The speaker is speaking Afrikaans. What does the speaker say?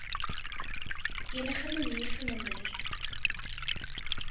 enige manier verminder